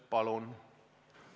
Palun!